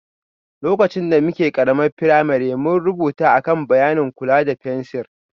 Lokacin da muke ƙaramar firamare, mun rubuta a kan bayanin kula da fensir